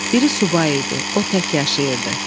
Biri subay idi, o tək yaşayırdı.